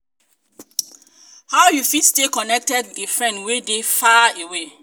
how you fit stay connected with a friend wey dey far away?